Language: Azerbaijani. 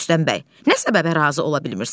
Rüstəm bəy, nə səbəbə razı ola bilmirsən?